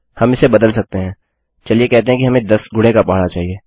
हम इसे बदल सकते हैं चलिए कहते हैं कि हमें 10 गुणे का पहाड़ा चाहिए